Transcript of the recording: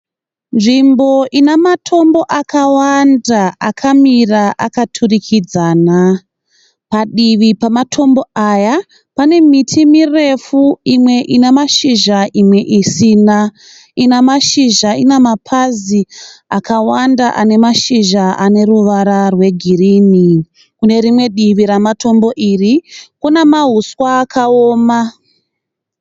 Nzvimbo ine matombo akawanda akamira akaturikidzana. Padivi pematombo aya pane miti mirefu imwe ine mashizha imwe isina. Ine mashizha ine mapazi akawanda ane mashizha aneruvara rwegirinhi. Kune rimwe divi ramatombo iri kune mahuswa akaoma.